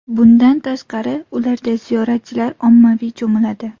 Bundan tashqari, ularda ziyoratchilar ommaviy cho‘miladi.